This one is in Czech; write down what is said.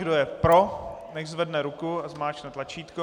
Kdo je pro, nechť zvedne ruku a zmáčkne tlačítko.